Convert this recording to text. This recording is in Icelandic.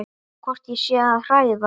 Hvort ég sé að hræða.